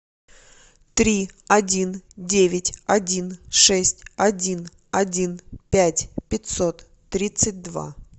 три один девять один шесть один один пять пятьсот тридцать два